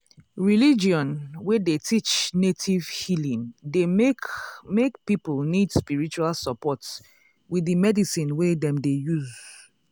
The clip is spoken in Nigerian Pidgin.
religion wey dey teach native healing dey make make people need spiritual support with the medicine wey dem dey use.